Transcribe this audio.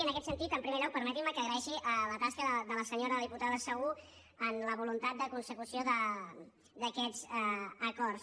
i en aquest sentit en primer lloc permetin me que agraeixi la tasca de la diputada segú en la voluntat de consecució d’aquests acords